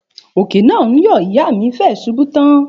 Òkè náà ń yọ̀ ìyá mi fẹẹ ṣubú tán